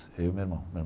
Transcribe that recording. Eu e meu irmão, meu